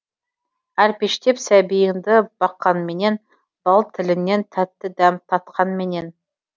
әлпештеп сәбиіңді баққанменен бал тілінен тәтті дәм татқанменен